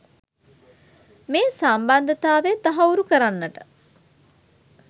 මේ සම්බන්ධතාවය තහවුරු කරන්නට